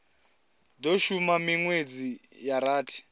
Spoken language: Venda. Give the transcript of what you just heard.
do shuma minwedzi ya rathi